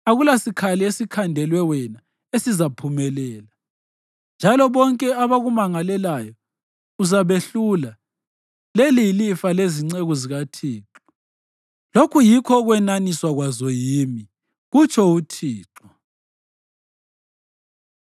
akulasikhali esikhandelwe wena esizaphumelela, njalo bonke abakumangalelayo uzabehlula. Leli yilifa lezinceku zikaThixo, lokhu yikho ukwenaniswa kwazo yimi,” kutsho uThixo.